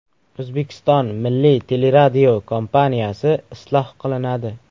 O‘zbekiston Milliy teleradiokompaniyasi isloh qilinadi.